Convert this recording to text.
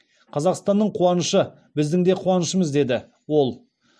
қазақстанның қуанышы біздің де қуанышымыз деді ол